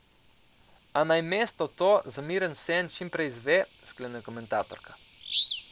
A naj mesto to, za miren sen, čim prej izve, sklene komentatorka.